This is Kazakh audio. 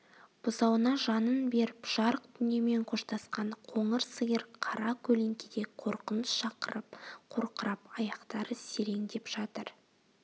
бұзауына жанын беріп жарық дүниемен қоштасқан қоңыр сиыр қара көлеңкеде қорқыныш шақырып қорқырап аяқтары сереңдеп жатыр